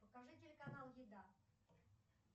покажи телеканал еда